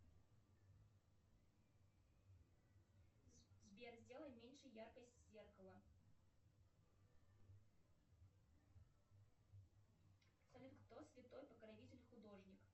сбер сделай меньше яркость зеркала салют кто святой покровитель художник